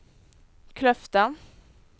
Kløfta